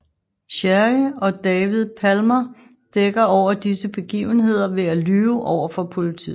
Sherry og David Palmer dækker over disse begivenheder ved at lyve overfor politiet